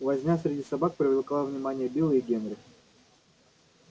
возня среди собак привлекла внимание билла и генри